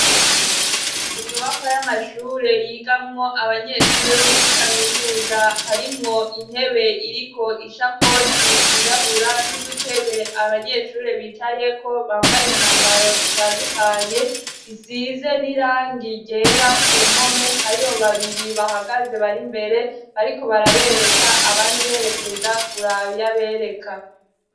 inyubakwa y'amashure yigamwo abanyeshure bo muri kaminuza harimwo intebe iriko ishakoshi yirabura n'udutebe abanyeshure bicaye ko bambaye imyambaro itandukanye isize n'irangi ryera ku mpome hariho babiri bahagaze bari mbere ariko barabereka abandi berekeza kuraba iyo bereka